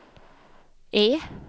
E